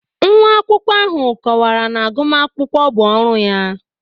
Nwa akwụkwọ ahụ kọwara na agụmakwụkwọ bụ ọrụ ya